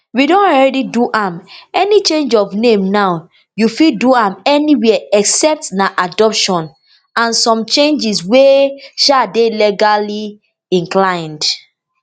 we don already do am any change of name now you fit do am anywia except na adoption and some changes wey um dey legally inclined